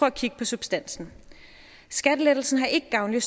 at kigge på substansen skattelettelsen har ikke gavnlige